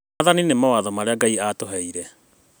Maathani nĩ mawatho marĩa Ngai atũheire